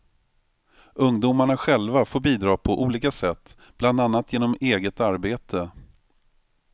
Ungdomarna själva får bidra på olika sätt bla genom eget arbete.